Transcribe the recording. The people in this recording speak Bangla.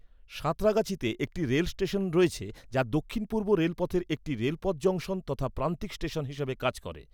সাঁতরাগাছিতে একটি রেল স্টেশন রয়েছে যা দক্ষিণ পূর্ব রেলপথের একটি রেলপথ জংশন তথা প্রান্তিক স্টেশন হিসাবে কাজ করে।